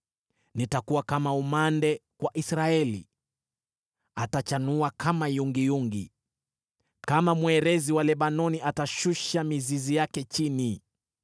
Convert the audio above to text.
Nitakuwa kama umande kwa Israeli; atachanua kama yungiyungi. Kama mwerezi wa Lebanoni atashusha mizizi yake chini;